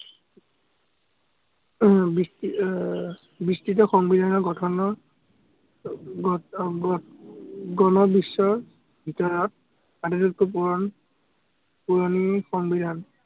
আহ সংবিধানৰ গঠনৰ ভিতৰত পুৰণি সংবিধান।